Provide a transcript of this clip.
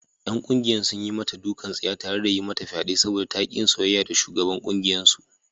’Yan kungiyar sun yi mata dukan tsiya tare da yi mata fyade saboda ta ki yin soyayya da shugaban kungiyarsu.